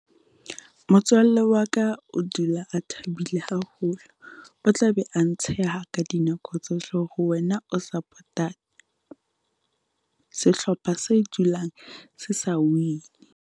Motswalle wa ka o dula a thabile haholo, o tla be a ntsheha ka dinako tsohle hore wena o support-a sehlopha se dulang se sa win-ni.